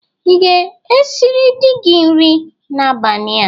Ị ga esịrị dị gi nri n'abania?